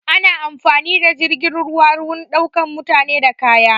Ana amfani da jirgin ruwa wurin ɗaukan mutane da kaya